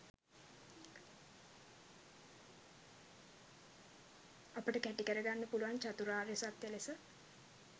අපට කැටිකර ගන්න පුළුවන් චතුරාර්ය සත්‍ය ලෙස.